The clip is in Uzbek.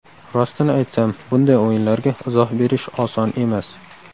Rostini aytsam bunday o‘yinlarga izoh berish oson emas.